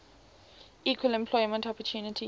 equal employment opportunity